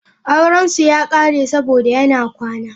Aurensu ya kare saboda yana kwana.